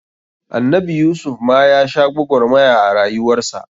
Annabi Yusuf ma ya sha gwagwarmaya a rayuwar sa.